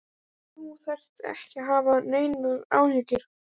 En þú þarft ekki að hafa neinar áhyggjur.